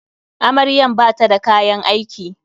Amaryan bata da kayan aiki.